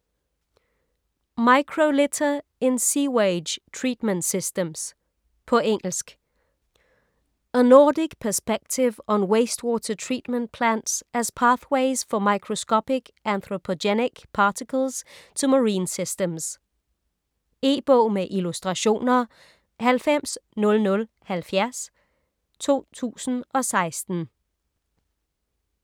Microlitter in sewage treatment systems På engelsk. A Nordic perspective on waste water treatment plants as pathways for microscopic anthropogenic particles to marine systems. E-bog med illustrationer 900070 2016.